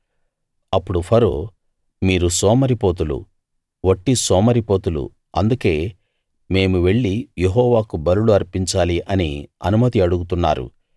అప్పుడు ఫరో మీరు సోమరిపోతులు వట్టి సోమరిపోతులు అందుకే మేము వెళ్లి యెహోవాకు బలులు అర్పించాలి అని అనుమతి అడుగుతున్నారు